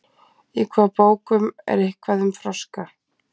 í hvaða bókum er eitthvað um froska